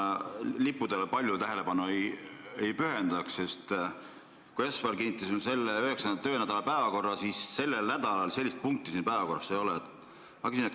Ma lippudele palju tähelepanu ei pühendaks, sest kui me esmaspäeval kinnitasime 9. töönädala päevakorra, siis seda punkti seal ei olnud.